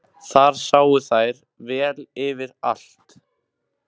Þar sáu þær vel yfir allt.